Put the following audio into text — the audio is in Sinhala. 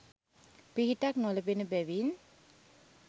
පිහිටක් නොලැබෙන බැවින්